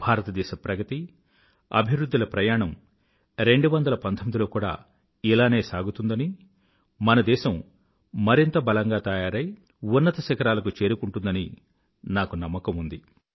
భారతదేశ ప్రగతి అభివృధ్ధిల ప్రయాణం 2019 లో కూడా ఇలానే సాగుతుందని మన దేశం మరింత బలంగా తయారై ఉన్నత శిఖరాలకు చేరుకుంటుందని నాకు నమ్మకం ఉంది